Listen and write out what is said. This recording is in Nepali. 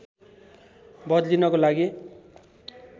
बदलिनको लागि